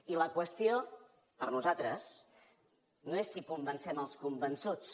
i la qüestió per nosaltres no és si convencem els convençuts